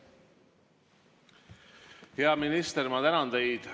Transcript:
Hea minister, ma tänan teid!